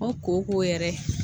Ngo kooko yɛrɛ